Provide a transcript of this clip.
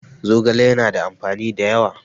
Zogale ya na da amfani da yawa